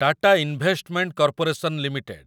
Tata investment corporation limited